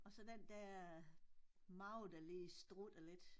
Og så den dér mave der lige strutter lidt